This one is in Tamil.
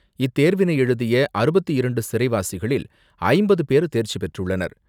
இத்தேர்வினை எழுதிய அறுபத்து இரண்டு சிறைவாசிகளில் ஐம்பது பேர் தேர்ச்சி பெற்றுள்ளனர்.